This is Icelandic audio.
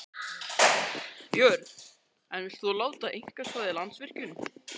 Björn: En vilt þú láta einkavæða Landsvirkjun?